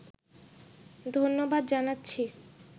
ধন্যবাদ জানাচ্ছি